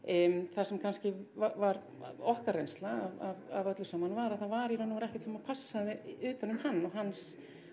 það sem kannski var okkar reynsla af öllu saman var að það var í raun og veru ekkert sem passaði utan um hann og hans